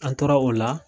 An tora o la